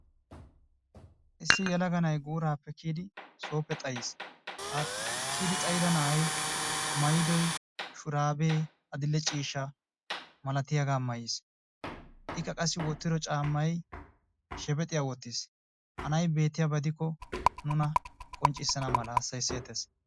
Issi yelaga na"ayi guuraappe kiyidi sooppe xays. Ha kiyidi xayida na"ay maayiddo shuraabee adill"e ciishshaa malatiyaga maayiis. Ikka qassi wottido caammayi shebexiya wottiis ha na"ay beettiyaba gidikko nuna qonccissana mala hassayayisseettees.